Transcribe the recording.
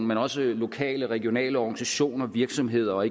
men også i lokale regionale organisationer virksomheder og